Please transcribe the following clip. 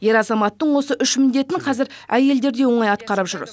ер азаматтың осы үш міндетін қазір әйелдер де оңай атқарып жүр